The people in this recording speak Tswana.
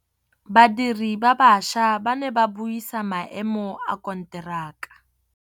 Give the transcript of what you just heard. Badiri ba baša ba ne ba buisa maêmô a konteraka.